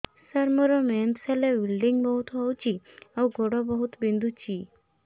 ସାର ମୋର ମେନ୍ସେସ ହେଲେ ବ୍ଲିଡ଼ିଙ୍ଗ ବହୁତ ହଉଚି ଆଉ ଗୋଡ ବହୁତ ବିନ୍ଧୁଚି